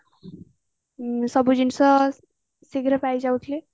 ସବୁ ଜିନିଷ ଶୀଘ୍ର ପାଇଯାଉଥିଲି